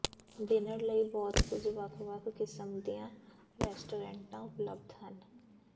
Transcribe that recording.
dinner ਲਈ ਬਹੁਤ ਕੁਝ ਵੱਖ ਵੱਖ ਕਿਸਮ ਦੀਆਂ ਰੈਸਟੋਰੈਂਟਾਂ ਉਪਲਬਧ ਹਨ